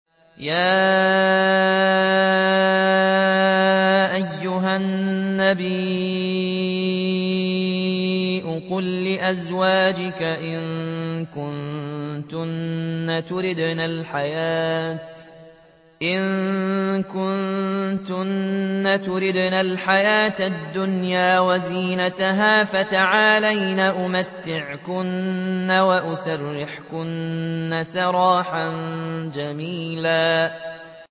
يَا أَيُّهَا النَّبِيُّ قُل لِّأَزْوَاجِكَ إِن كُنتُنَّ تُرِدْنَ الْحَيَاةَ الدُّنْيَا وَزِينَتَهَا فَتَعَالَيْنَ أُمَتِّعْكُنَّ وَأُسَرِّحْكُنَّ سَرَاحًا جَمِيلًا